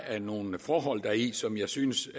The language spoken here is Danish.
er nogle forhold deri som jeg synes